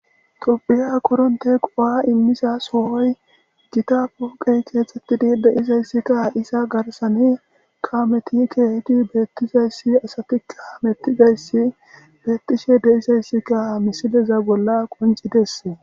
qophiya koronteko ha immiza soohoy githa poqey keexxetidi deizayssikka izza garsane kameti kehidi beettizayssi asatikka mettizayssi beettishe deisayssika misileza bolla qoncidesse.